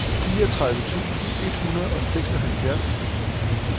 fireogtredive tusind et hundrede og seksoghalvfjerds